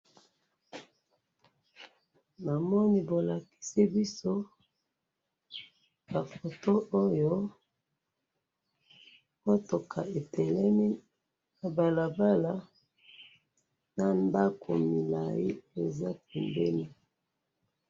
namoni balakisi biso ka photo oyo motouka etememi na balabala na ndaku mulayi eza pembeni.